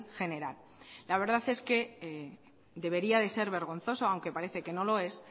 general la verdad es que debería de ser vergonzoso aunque parece que no lo es